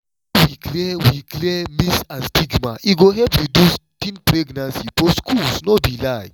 when we clear we clear myths and stigma e go help reduce teen pregnancy for schools no be lie.